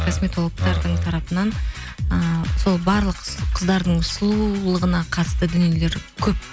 косметологтардың тарапынан ы сол барлық қыздардың сұлулығына қатысты дүниелер көп